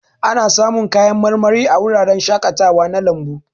Ana samun kayan marmari a wuraren shakatawa na lambu.